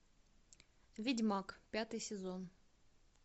ведьмак пятый сезон